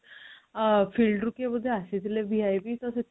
ଅଁ field ରୁ କିଏ ବୋଧେ ଆସିଥିଲେ VIP ତ